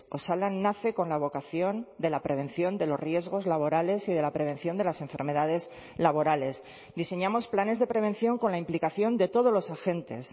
osalan nace con la vocación de la prevención de los riesgos laborales y de la prevención de las enfermedades laborales diseñamos planes de prevención con la implicación de todos los agentes